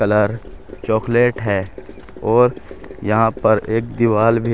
Colour chocolate है और यहां पर एक दीवाल भी है।